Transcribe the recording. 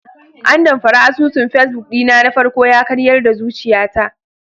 Andamfara asusun facebook ɗina na farko yakaryar da zuciyata.